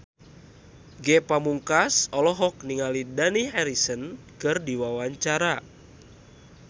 Ge Pamungkas olohok ningali Dani Harrison keur diwawancara